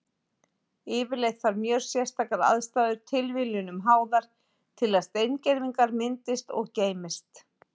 Yfirleitt þarf mjög sérstakar aðstæður, tilviljunum háðar, til að steingervingar myndist og geymist.